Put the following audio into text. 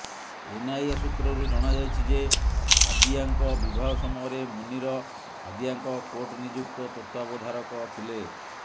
NIA ସୁତ୍ରରୁ ଜଣାଯାଇଛି ଯେ ହାଦିୟାଙ୍କ ବିବାହ ସମୟରେ ମୁନିର ହାଦିୟାଙ୍କ କୋର୍ଟ ନିଯୁକ୍ତ ତତ୍ତ୍ୱାବଧାୟକ ଥିଲେ